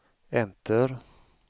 enter